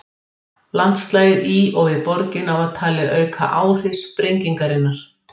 Landslagið í og við borgina var talið auka áhrif sprengingarinnar.